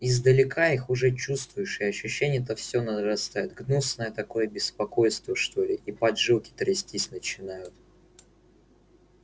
издалека их уже чувствуешь и ощущение это всё нарастает гнусное такое беспокойство что ли и поджилки трястись начинают